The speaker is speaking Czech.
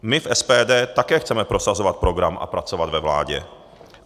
My v SPD také chceme prosazovat program a pracovat ve vládě.